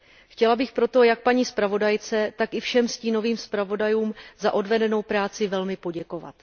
Chtěla bych proto jak paní zpravodajce, tak i všem stínovým zpravodajům za odvedenou práci velmi poděkovat.